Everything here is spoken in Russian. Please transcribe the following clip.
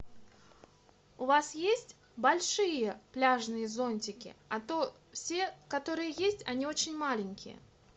у вас есть большие пляжные зонтики а то все которые есть они очень маленькие